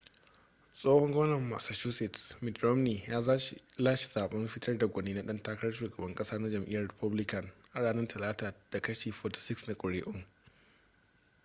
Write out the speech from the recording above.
tsohon gwamnan massachusetts mitt romney ya lashe zaɓen fitar da gwani na ɗan takarar shugaban ƙasa na jam'iyyar republican a ranar talata da kashi 46 na kuri'un